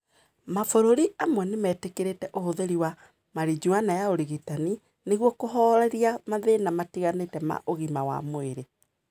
Mabũrũri amwe nĩ metĩkĩrĩtie ũhũthĩri wa "Marijuana ya ũrigitani" nĩguo kũhooreria mathĩĩna matiganĩte ma ũgima wa mwĩrĩ.